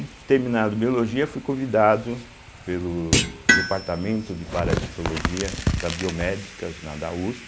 E terminado biologia, fui convidado pelo Departamento de Parasitologia da Biomédicas, na da uspe,